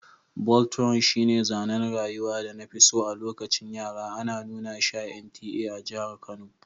Voltron shine zanen rayuwar da na fi so a lokacin yara, ana nuna shi a NTA a jihar Kano.